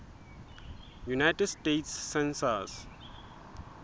united states census